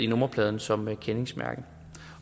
nummerpladen som kendingsmærke